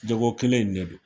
Jago kelen in de don